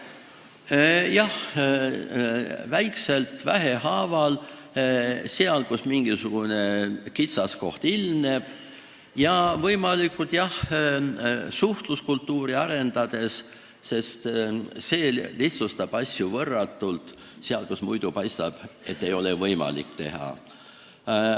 Jah, väikselt, vähehaaval, seal, kus mingisugune kitsaskoht ilmneb, ja suhtluskultuuri arendades, sest see lihtsustab asju võrratult, kui muidu paistab, et ei ole võimalik midagi teha.